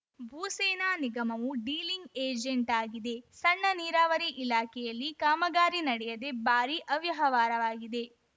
ಭೂಸೇನಾ ನಿಗಮವು ಡೀಲಿಂಗ್‌ ಏಜೆಂಟಾಗಿದೆ ಸಣ್ಣ ನೀರಾವರಿ ಇಲಾಖೆಯಲ್ಲಿ ಕಾಮಗಾರಿ ನಡೆಯದೆ ಭಾರೀ ಅವ್ಯವಹಾರವಾಗಿದೆ